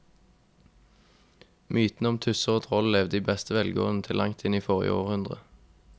Mytene om tusser og troll levde i beste velgående til langt inn i forrige århundre.